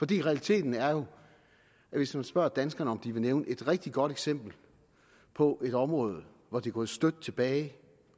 det realiteten er jo at hvis man spørger danskerne om de vil nævne et rigtig godt eksempel på et område hvor det er gået støt tilbage